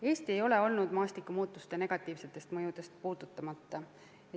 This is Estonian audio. Eesti ei ole jäänud maastikumuutuste negatiivsetest mõjudest puutumata.